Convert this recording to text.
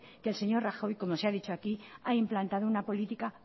que el señor rajoy como se ha dicho aquí ha implantado una política